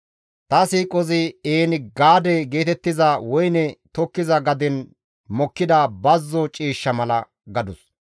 Ta siiqozi En-Gaade geetettiza woyne tokkiza gaden mokkida bazzo ciishsha mala» gadus.